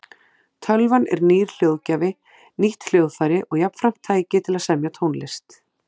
Tölvan er nýr hljóðgjafi, nýtt hljóðfæri og jafnframt tæki til að semja tónlist.